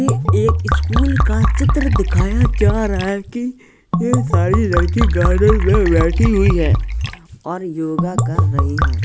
ये एक स्कूल का चित्र दिखाया जा रहा है कि ये सारी लड़की गार्डन में बैठी हुईं हैंऔर योगा कर रही हैं।